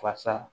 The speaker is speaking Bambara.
Fasa